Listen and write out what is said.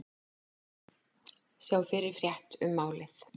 Sjá fyrri frétt um málið